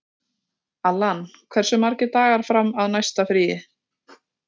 Allan, hversu margir dagar fram að næsta fríi?